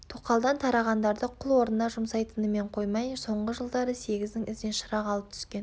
тоқалдан тарағандарды құл орнына жұмсайтынымен тұрмай соңғы жылдары сегіздің ізіне шырақ алып түскен